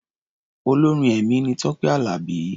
Olórin ẹ̀mí ni Tọ́pé Àlàbí.